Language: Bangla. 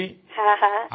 হ্যাঁ হ্যাঁ